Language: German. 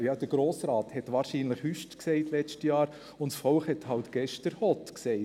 Ja, der Grosse Rat hat letztes Jahr wahrscheinlich hott gesagt und das Volk hat gestern halt hüst gesagt.